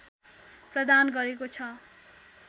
प्रदान गरेको छ